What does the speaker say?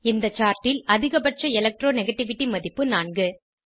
இந்த chartல் அதிகபட்ச electro நெகட்டிவிட்டி மதிப்பு 4